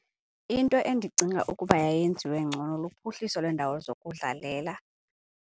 Into endicinga ukuba yayenziwe ngcono luphuhliso lweendawo zokudlalela.